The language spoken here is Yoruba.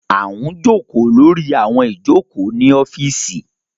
A ń joko lori awọn ijoko ni ọfiisi